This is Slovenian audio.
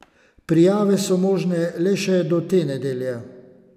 Prijave so možne le še do te nedelje!